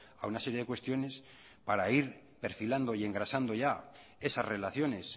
a una serie de cuestiones para ir perfilando y engrasando ya esas relaciones